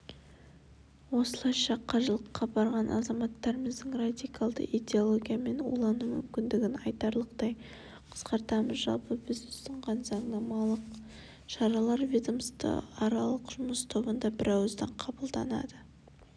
осылайша қажылыққа барған азаматтарымыздың радикалды идеологиямен улану мүмкіндігін айтарлықтай қысқартамыз жалпы біз ұсынған заңнамалық шаралар ведомствоаралық жұмыс тобында бірауыздан қабылданды